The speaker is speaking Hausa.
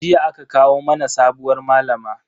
Jiya aka kawo mana sabuwar malama.